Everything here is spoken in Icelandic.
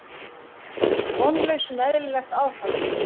Vonlaus um eðlilegt aðfall.